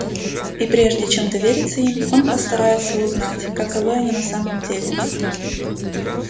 и прежде чем довериться им он постарается узнать каковы они на самом деле